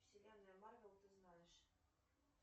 вселенная марвел ты знаешь